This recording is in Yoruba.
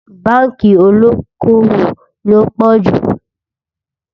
bánkì olókó owó ló wò pò jù